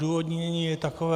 Odůvodnění je takové.